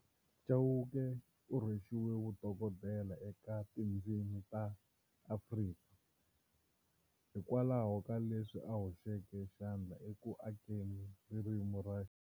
Chauke urhwexiwe vu dokodela eka tindzimi ta Afrika, hikwalaho ka leswi a hoxeke xandla eku akeni ririmi ra.